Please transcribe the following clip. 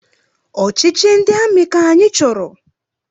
Ọchịchị ndị amị ka anyị chọrọ!